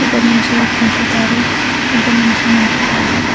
ಒಬ್ಬ ಮನುಷ್ಯ ಕುಂತಿದ್ದಾರೆ ಒಬ್ಬ ಮನುಷ್ಯ ನಿಂತಿದ್ದಾರೆ.